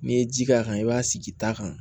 N'i ye ji k'a kan i b'a sigi ta kan